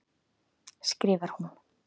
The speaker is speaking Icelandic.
skrifar hún.